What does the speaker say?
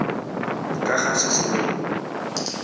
ka ga se se neng